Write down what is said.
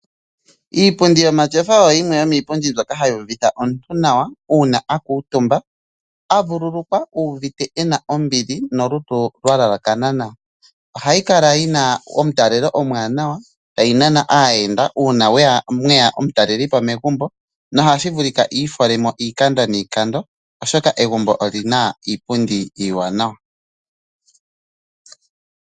Iipundi yomatyofa oyo yimwe yo miipundi mbyoka hayi uvitha omuntu nawa una aku utumba avu lulukwa uvite ena ombili nolutu lwa lalakana nawa. Ohayi kala yi na omutalele omwanawa tayi nana aayenda una mweya omutalelipo megumbo nohashi vulika ifolemo iikando niikando oshoka egumbo olina iipundi iiwanawa.